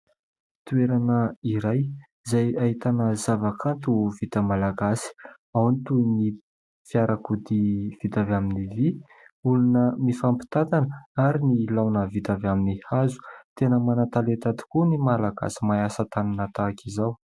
Toerana iray izay ahitana zavakanto vita malagasy. Ao ny toy ny fiarakodia vita avy amin'ny vy, olona mifampitantana ary ny laona vita avy amin'ny hazo. Tena manan-talenta tokoa ny Malagasy mahay asa tanana tahaka izao.